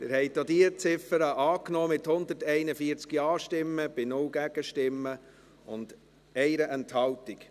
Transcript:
Sie haben auch diese Ziffer angenommen, mit 141 Ja- gegen 0 Nein-Stimmen bei 1 Enthaltung.